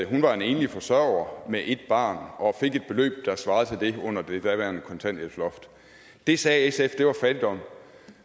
hun var en enlig forsørger med et barn og fik et beløb der svarede til det fik under det daværende kontanthjælpsloft det sagde sf var fattigdom